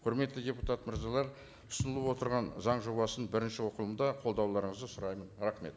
құрметті депутат мырзалар ұсынылып отырған заң жобасын бірінші оқылымда қолдауларыңызды сұраймын рахмет